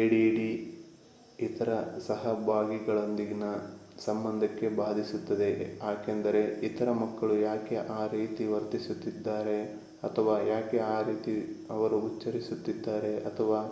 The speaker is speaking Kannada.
ಎಡಿಡಿ ಇತರ ಸಹಭಾಗಿಗಳೊಂದಿಗಿನ ಸಂಬಂಧಕ್ಕೆ ಬಾಧಿಸುತ್ತದೆ ಯಾಕೆಂದರೆ ಇತರ ಮಕ್ಕಳು ಯಾಕೆ ಆ ರೀತಿ ವರ್ತಿಸುತ್ತಿದ್ದಾರೆ ಅಥವಾ ಯಾಕೆ ಆ ರೀತಿ ಅವರು ಉಚ್ಛರಿಸುತ್ತಿದ್ದಾರೆ ಅಥವಾ